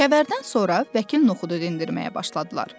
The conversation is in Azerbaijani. Kəvərdən sonra Vəkil Noxudu dindirməyə başladılar.